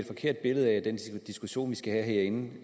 forkert billede af den diskussion vi skal have herinde det